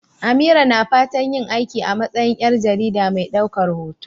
Amira na fatan yin aiki a matsayin ƴar jarida mai ɗaukar hoto.